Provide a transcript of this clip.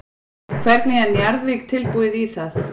Hvernig er Njarðvík tilbúið í það?